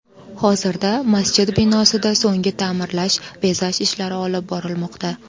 Hozirda masjid binosida so‘nggi ta’mirlash, bezash ishlari olib borilmoqda.